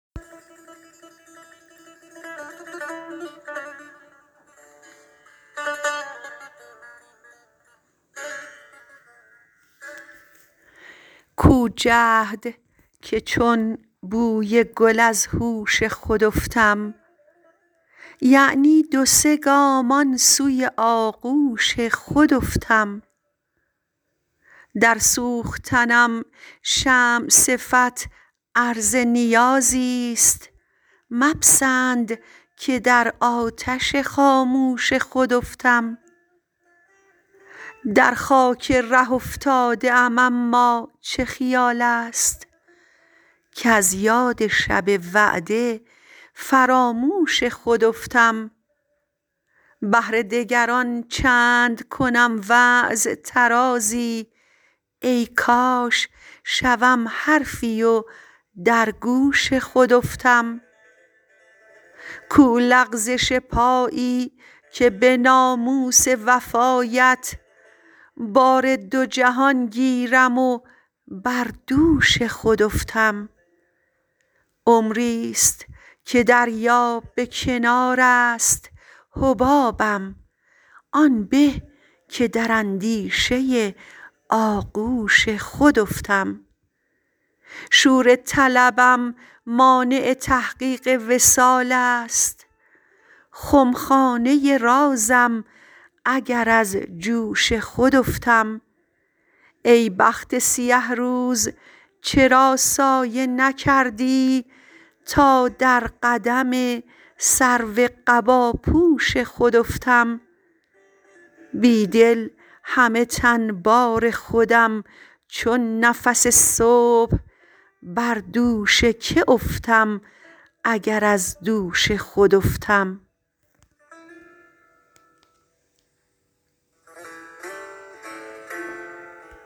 کو جهد که چون بوی گل از هوش خود افتم یعنی دو سه گام آنسوی آغوش خود افتم در سوختنم شمع صفت عرض نیازیست مپسندکه در آتش خاموش خود افتم در خاک ره افتاده ام اما چه خیالست کز یاد شب وعده فراموش خود افتم بهر دگران چند کنم وعظ طرازی ای کاش شوم حرفی و در گوش خود افتم کو لغزش پایی که به ناموس وفایت بار دو جهان گیرم و بر دوش خود افتم عمریست که دریا به کنار است حبابم آن به که در اندیشه آغوش خود افتم شور طلبم مانع تحقیق وصالست خمخانه رازم اگر از جوش خود افتم ای بخت سیه روز چرا سایه نکردی تا در قدم سرو قباپوش خود افتم بیدل همه تن بار خودم چون نفس صبح بر دوش که افتم اگر از دوش خود افتم